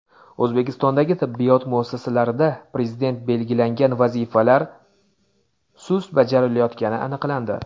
O‘zbekistondagi tibbiyot muassasalarida Prezident belgilagan vazifalar sust bajarilayotgani aniqlandi.